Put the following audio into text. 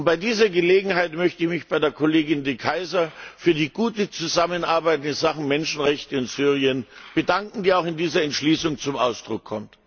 Bei dieser Gelegenheit möchte ich mich bei der Kollegin De Keyser für die gute Zusammenarbeit in Sachen Menschenrechte und Syrien bedanken, die auch in dieser Entschließung zum Ausdruck kommt.